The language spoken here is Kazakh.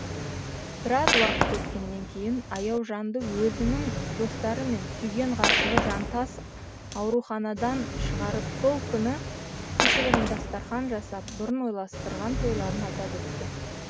біраз уақыт өткеннен кейін аяужанды өзінің достары мен сүйген ғашығы жантас аурухандан шығарып сол күні кішігірім дастархан жасап бұрын ойластырған тойларын атап өткен